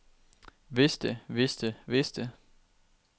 vidste vidste vidste